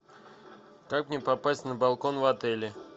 как мне попасть на балкон в отеле